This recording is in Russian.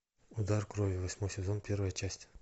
удар крови восьмой сезон первая часть